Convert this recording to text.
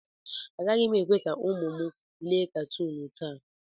Agaghị m ekwe ka ụmụ m lee katuun taa.